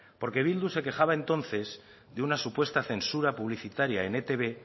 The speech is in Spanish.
porque bildu se quejaba entonces de una supuesta censura publicitaria en etb